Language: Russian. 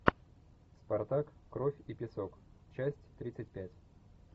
спартак кровь и песок часть тридцать пять